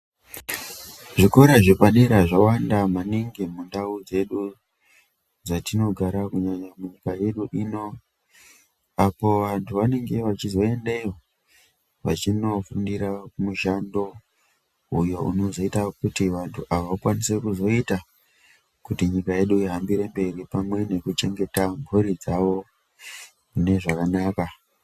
Zvikora zvepadera zvawanda maningi mundau dzedu dzatinogara munyika yedu ino apo vantu vanenge vechizoendeyo vachindoofundira mushando uyo unozoita kuti vantu ava vakwanise kuzoita kuti nyika yedu ihambire mberi pamwe nekuchengeta mburi dzawo nezvakanaka.